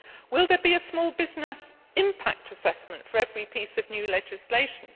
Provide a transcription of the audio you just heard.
Will there be a small business impact assessment for every piece of new legislation?